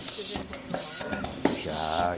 Você já encontrou uma onça pelo. Já